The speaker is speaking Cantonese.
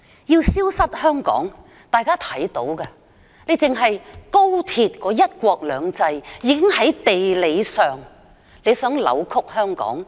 要令香港消失，單是高鐵的"一地兩檢"，已在地理上扭曲香港。